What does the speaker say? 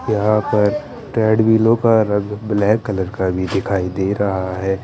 यहां पर ट्रेडमिलो का रंग ब्लैक कलर का भी दिखाई दे रहा है।